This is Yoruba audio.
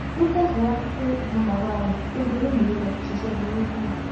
ó tẹsíwájú pé ìbọn bàbá rẹ tó dolóògbé ló lọ fi ṣiṣẹ burúkú náà